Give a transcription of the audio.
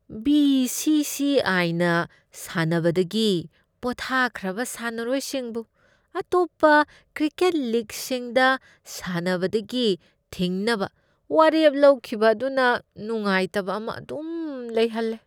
ꯕꯤ.ꯁꯤ.ꯁꯤ.ꯑꯥꯏ.ꯅ ꯁꯥꯟꯅꯕꯗꯒꯤ ꯄꯣꯊꯥꯈ꯭ꯔꯕ ꯁꯥꯟꯅꯔꯣꯏꯁꯤꯡꯕꯨ ꯑꯇꯣꯞꯄ ꯀ꯭ꯔꯤꯀꯦꯠ ꯂꯤꯒꯁꯤꯡꯗ ꯁꯥꯟꯅꯕꯗꯒꯤ ꯊꯤꯡꯅꯕ ꯋꯥꯔꯦꯞ ꯂꯧꯈꯤꯕ ꯑꯗꯨꯅ ꯅꯨꯡꯉꯥꯏꯇꯕ ꯑꯃ ꯑꯗꯨꯝ ꯂꯩꯍꯜꯂꯦ ꯫